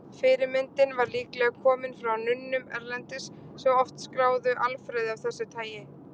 Fyrirmyndin var líklega komin frá nunnum erlendis, sem oft skráðu alfræði af þessu tagi.